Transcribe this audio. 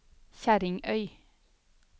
Kjerringøy